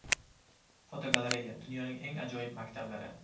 Fotogalereya: Dunyoning eng ajoyib maktablari.